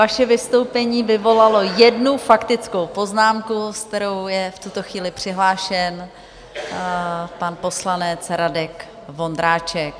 Vaše vystoupení vyvolalo jednu faktickou poznámku, s kterou je v tuto chvíli přihlášen pan poslanec Radek Vondráček.